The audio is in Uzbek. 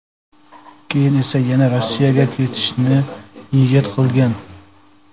Keyin esa yana Rossiyaga ketishni niyat qilgan.